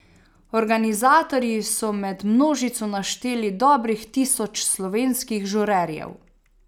Organizatorji so med množico našteli dobrih tisoč slovenskih žurerjev.